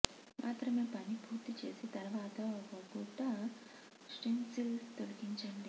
మాత్రమే పని పూర్తి చేసి తర్వాత ఒక గుడ్డ స్టెన్సిల్ తొలగించండి